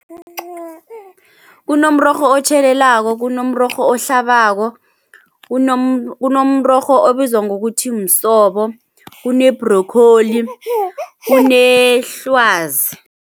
Kunomrorho otjhelelako, kunomrorho ohlabako, kunomrorho obizwa ngokuthi msobo, kune-broccoli, kunehlwazi.